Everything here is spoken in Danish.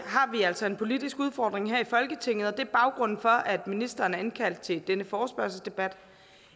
har vi altså en politisk udfordring her i folketinget og det er baggrunden for at ministeren er indkaldt til denne forespørgselsdebat